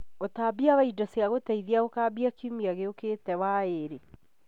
Ũtambia wa indo cia gũteithia ũkambia kiumia gĩũkĩte waĩĩrĩ